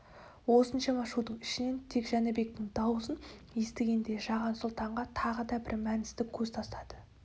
осыншама шудың ішінен тек жәнібектің даусын естігендей жаған сұлтанға тағы да бір мәністі көз тастады